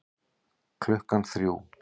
Klukkan þrjú